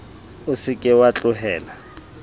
o se ke wa tlohela